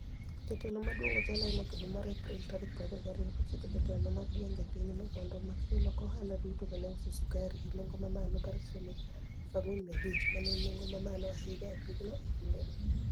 Jatelo maduonig Ojala Enock edwe mar April tarik 22, nochiko jotelo mag gwenige e piny no monido omak jolok ohala duto ma ni e uso sukari e ni enigo ma malo mar shilinigi 4,500, ma ni e eni ni enigo mamalo ahiniya e piny no e kinideno.